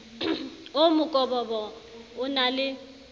oo mokobobo o na le